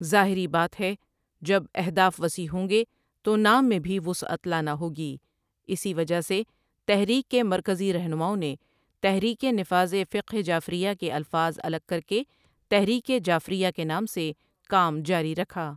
ظاہری بات ہے جب اہداف وسیع ہوں گے تو نام میں بھی وسعت لانا ہو گی اسی وجہ سے تحریک کےمرکزی رہنماؤں نے تحریک نفاذ فقہ جعفریہ کے الفاظ الگ کر کے تحریک جعفریہ کے نام سے کام جاری رکھا ۔